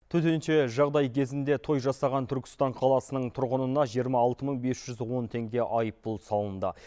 төтенше жағдай кезінде той жасаған түркістан қаласының тұрғынына жиырма алты мың бес жүз он теңге айыппұл салынды